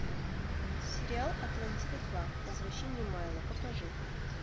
сериал атлантида два возвращение майло покажи